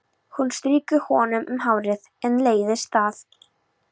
Hún strýkur honum um hárið en leiðist það.